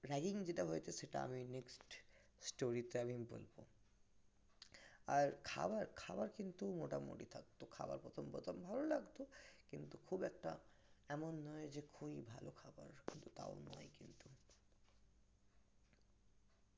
ragging যেটা হয়েছে সেটা আমি next story তে বলব আর খাবার খাওয়ার কিন্তু মোটামুটি থাকতো খাওয়ার প্রথম প্রথম ভালো লাগতো কিন্তু খুব একটা এমন নয় যে খুবই ভালো